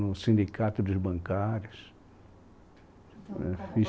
No sindicato dos bancários...